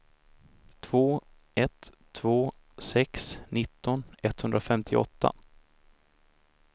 två ett två sex nitton etthundrafemtioåtta